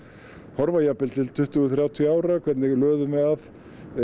horfa jafnvel til tuttugu til þrjátíu ára hvernig löðum við að